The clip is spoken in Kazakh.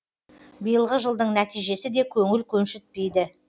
биылғы жылдың нәтижесі де көңіл көншітпейді